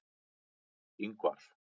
Ingvar